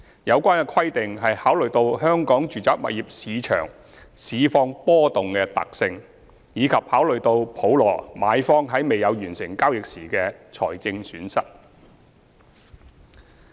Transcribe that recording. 有關規定考慮到香港住宅物業市場市況波動的特性，以及普羅買方在未有完成交易時的財政損失。